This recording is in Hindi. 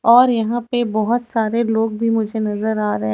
और यहां पे बहुत सारे लोग भी मुझे नजर आ रहे